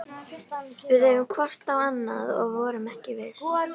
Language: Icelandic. Við horfðum hvort á annað- og vorum ekki viss.